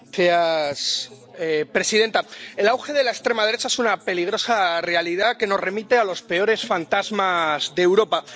Señora presidenta, el auge de la extrema derecha es una peligrosa realidad que nos remite a los peores fantasmas de Europa.